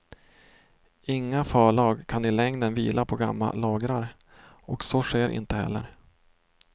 Inga förlag kan i längden vila på gamla lagrar, och så sker inte heller.